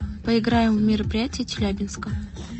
поиграем в мероприятия челябинска